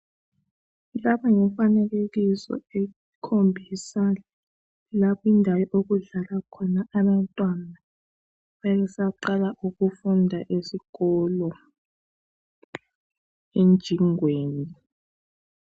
Lapha ngumfanekiso ekhombisa la indawo okudlala khona abantwana nxabesaqala ukufunda esikolo emjingweni.